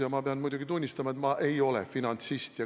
Ja ma pean muidugi tunnistama, et ma ei ole finantsist.